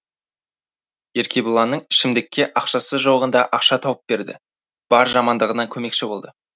еркебұланның ішімдікке ақшасы жоғында ақша тауып берді бар жамандығына көмекші болды